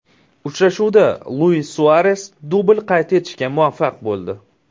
Uchrashuvda Luis Suares dubl qayd etishga muvaffaq bo‘ldi.